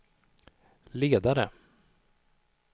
ledare